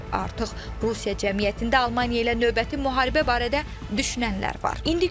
Artıq Rusiya cəmiyyətində Almaniya ilə növbəti müharibə barədə düşünənlər var.